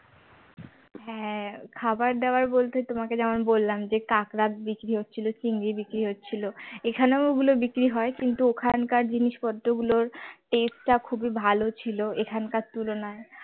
হ্যাঁ খাবার দেওয়ার বলতে তোমাকে যেমন বললাম যে কাঁকড়া বিক্রি হচ্ছিল চিংড়ি বিক্রি হচ্ছিল এখানেও ওগুলো বিক্রি হয় কিন্তু ওখানকার জিনিস পত্র গুলোর taste টা খুবই ভাল ছিল এখানকার তুলনায়